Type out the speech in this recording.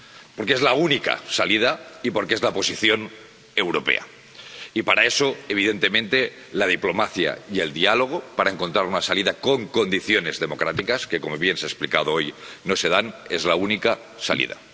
Porque es la única salida y porque es la posición europea, y para eso, evidentemente, la diplomacia y el diálogo para encontrar una salida con condiciones democráticas —que, como bien se ha explicado hoy, no se dan— son la única salida.